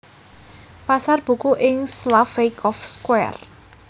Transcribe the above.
Pasar Buku ing Slaveykov Square